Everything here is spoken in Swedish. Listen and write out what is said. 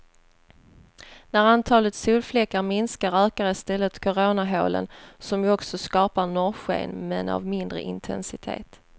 När antalet solfläckar minskar ökar istället koronahålen, som ju också skapar norrsken men av mindre intensitet.